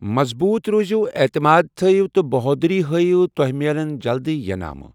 مضبوط روزِو ، اعتماد تھٲیِو تہٕ بہودری ہٲیو تۄہہِ میلن جلدی ینامہٕ۔